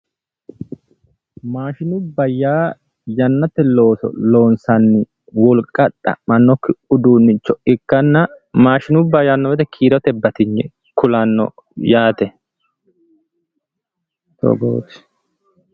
Maashinubba yaa yannate looso loonsanni wolqa xa'mannokki uduunne ikkanna maashinubba yaanno woyiite kiirote batinye kulanno yaate. togooti